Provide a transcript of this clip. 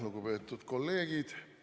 Lugupeetud kolleegid!